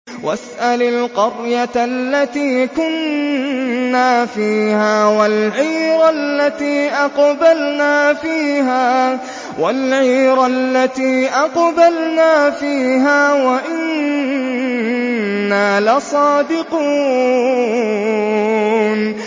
وَاسْأَلِ الْقَرْيَةَ الَّتِي كُنَّا فِيهَا وَالْعِيرَ الَّتِي أَقْبَلْنَا فِيهَا ۖ وَإِنَّا لَصَادِقُونَ